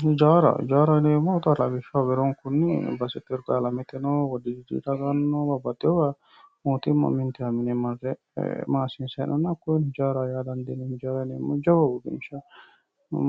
hijaaraho yineemmohu xa beronkunni hirgalameteno ikko wojigirano mootimma uminsa marte maassiisanni nooha hakkoye hijaaraho yaa dandiinanni jawa uurinsha